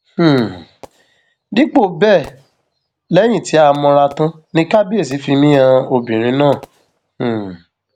um dípò bẹẹ lẹyìn tí a mọra tán ni kábíẹsì fi mí han obìnrin náà um